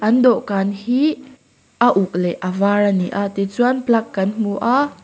an dawhkan hi a uk leh a var a ni a tichuan plug kan hmu a--